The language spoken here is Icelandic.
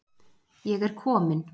Ég er komin.